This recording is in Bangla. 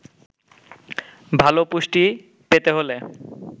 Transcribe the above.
ভালো পুষ্টি পেতে হলে